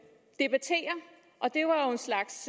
slags